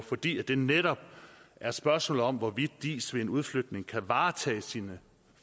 fordi det netop er et spørgsmål om hvorvidt diis ved en udflytning kan varetage sine